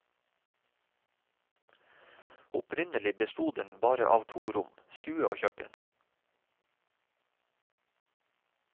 Opprinnelig besto den bare av to rom, stue og kjøkken.